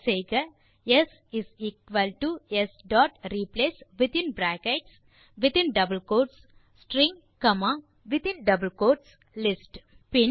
type செய்க s s dot replace within brackets மற்றும் double quotes string மீண்டும் brackets மற்றும் டபிள் கோட்ஸ் லிஸ்ட்